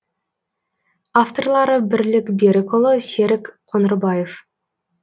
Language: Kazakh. авторлары бірлік берікұлы серік қоңырбаев